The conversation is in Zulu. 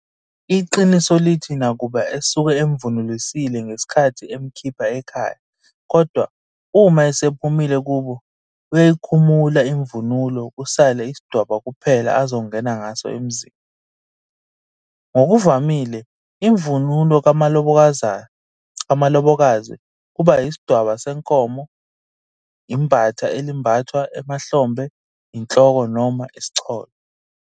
Iqiniso lithi nakuba esuke emuvunulisile ngesikhathi emukhipha ekhaya kodwa uma esephumile kubo uyayikhumula imvunulo kusale isidwaba kuphela azongena ngaso emzini. Ngokuvamile imvunulo kamlobokazi kuba isidwaba senkomo, imbatha elimbathwa emahlombe inhloko noma isicholo.